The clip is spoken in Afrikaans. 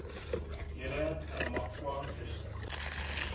hele namakwa distrik